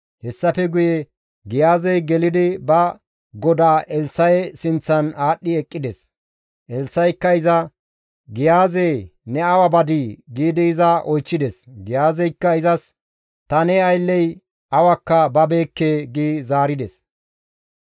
Hessafe guye Giyaazey gelidi ba godaa Elssa7e sinththan aadhdhi eqqides. Elssa7ikka iza, «Giyaaze ne awa badii?» giidi oychchides. Giyaazeykka izas, «Ta ne aylley awakka babeekke» gi zaarides.